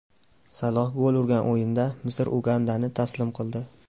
Saloh gol urgan o‘yinda Misr Ugandani taslim qildi .